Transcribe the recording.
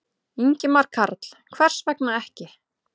Ingimar Karl: Hvers vegna ekki?